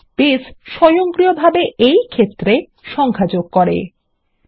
base স্বয়ংক্রিয়ভাবে এই ক্ষেত্রে সংখ্যা যোগ করবে